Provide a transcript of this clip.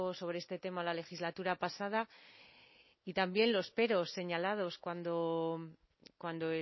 sobre este tema en la legislatura pasada y también los peros señalados cuando